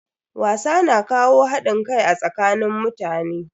Wasa na kawo hadin kai a tsakanin mutane.